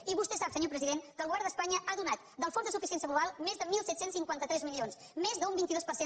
i vostè sap senyor president que el govern d’espanya ha donat del fons de suficiència global més de disset cinquanta tres milions més d’un vint dos per cent